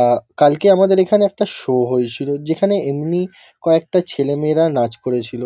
আ কালকে আমাদের এখানে একটা শো হয়েছিল যেখানে এমনি কয়েকটা ছেলেমেয়েরা নাচ করেছিল।